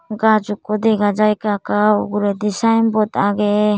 gaj ekko dega jai ekka ekka uguredi sign board aage.